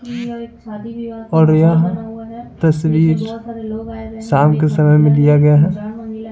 और यह तस्वीर शाम के समय में लिया गया है।